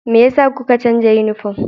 Me yasa kuka canza yunifom?